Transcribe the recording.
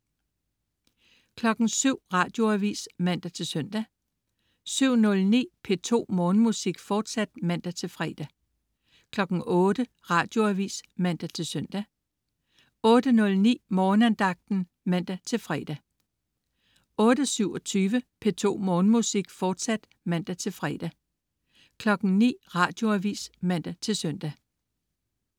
07.00 Radioavis (man-søn) 07.09 P2 Morgenmusik, fortsat (man-fre) 08.00 Radioavis (man-søn) 08.09 Morgenandagten (man-fre) 08.27 P2 Morgenmusik, fortsat (man-fre) 09.00 Radioavis (man-søn)